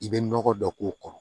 I bɛ nɔgɔ dɔ k'o kɔrɔ